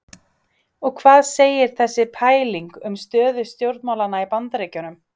Og hvað segir þessi pæling um stöðu stjórnmálanna í Bandaríkjunum?